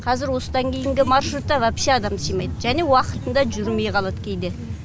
қазір осыдан кейінгі маршрутта вообще адам сыймайды және уақытында жүрмей қалады кейде